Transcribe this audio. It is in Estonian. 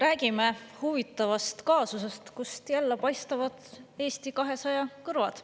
Räägime huvitavast kaasusest, kust jälle paistavad Eesti 200 kõrvad.